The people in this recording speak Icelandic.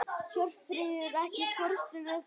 Hjörfríður, ekki fórstu með þeim?